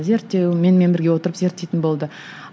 зерттеу менімен бірге отырып зерттейтін болды